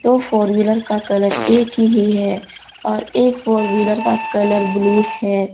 दो four wheeler का colour एक ही है और एक फोर व्हीलर का कलर ब्लू है।